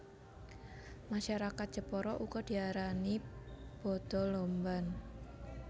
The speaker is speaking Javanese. Masyarakat Jepara uga diarani bada lomban